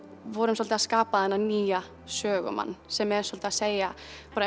vorum dálítið að skapa þennan nýja sögumann sem er svolítið að segja